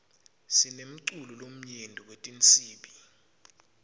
sinemculo lomnyenti wetinsibi